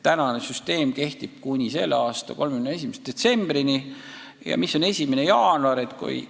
Praegune süsteem kehtib kuni selle aasta 31. detsembrini ja mis saab peale 1. jaanuari?